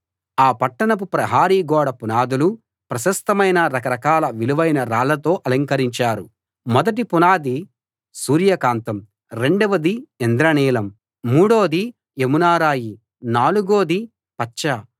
ఆ పట్టణపు ప్రహరీ గోడ పునాదులు ప్రశస్తమైన రకరకాల విలువైన రాళ్ళతో అలంకరించారు మొదటి పునాది సూర్యకాంతం రెండవది ఇంద్ర నీలం మూడోది యమునారాయి నాలుగోది పచ్చ